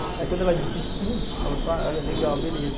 Aí quando ela disse sim, falou só, olha, legal, beleza.